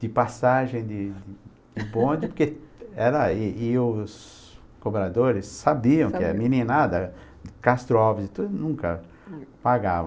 De passagem de de de ponte, porque era... e e os cobradores sabiam que a meninada, Castro Alves e tudo, nunca pagava.